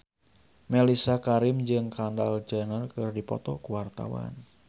Mellisa Karim jeung Kendall Jenner keur dipoto ku wartawan